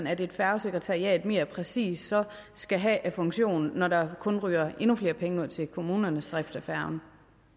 at et færgesekretariat så mere præcis skal have af funktioner når der kun ryger endnu flere penge ud til kommunernes drift af færgerne